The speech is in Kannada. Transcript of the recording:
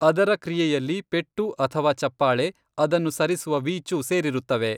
ಅದರ ಕ್ರಿಯೆಯಲ್ಲಿ ಪೆಟ್ಟು ಅಥವಾ ಚಪ್ಪಾಳೆ, ಅದನ್ನುಸರಿಸುವ ವೀಚು ಸೇರಿರುತ್ತವೆ.